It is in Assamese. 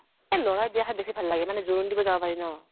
এ লʼৰাৰ বিয়া খাই বেছি ভাল লাগে মানে জোৰোণ দিব যাব পাৰি ন।